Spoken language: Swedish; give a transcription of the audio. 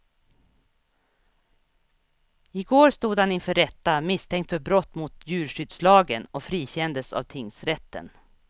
I går stod han inför rätta misstänkt för brott mot djurskyddslagen och frikändes av tingsrätten.